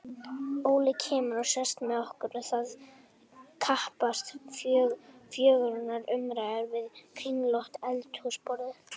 Óli kemur og sest með okkur og það skapast fjörugar umræður við kringlótt eldhúsborðið.